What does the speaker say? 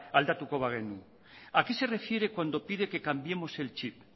aldatuko bagenu a qué se refiere cuando pide que cambiemos el chip